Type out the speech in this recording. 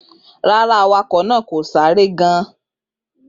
Rara, awakọ naa ko si ni ere giga.